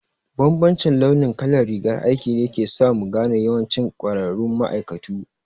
Bambancin launi kalar rigar aiki ne ke sa mu gane yawancin ƙwararru ma'aikatu